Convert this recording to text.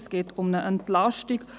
Es geht um eine Entlastung.